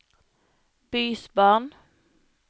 bysbarn